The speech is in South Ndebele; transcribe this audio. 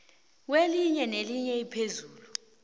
kelinye nelinye iphuzu